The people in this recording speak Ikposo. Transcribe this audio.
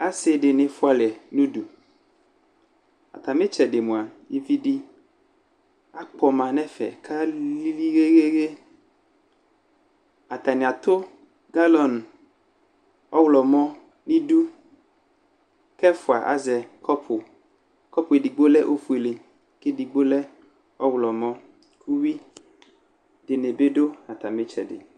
Asɩ dɩnɩ fʋalɛ nʋ udu Atamɩ ɩtsɛdɩ mʋa, ivi dɩ akpɔma kʋ alili ɣeɣeɣe Atanɩ atʋ galɔŋ ɔɣlɔmɔ nʋ idu, kʋ ɛfʋa azɛ kɔpʋKɔpʋ edigbo lɛ ofuele kʋ edigbo lɛ ɔɣlɔmɔ Ʋyʋi dɩnɩ bɩ dʋ atamɩ ɩtsɛdɩ